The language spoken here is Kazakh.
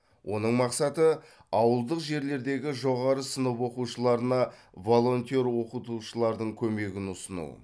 оның мақсаты ауылдық жерлердегі жоғары сынып оқушыларына волонтер оқытушылардың көмегін ұсыну